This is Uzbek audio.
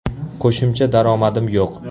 Qo‘shimcha daromadim yo‘q.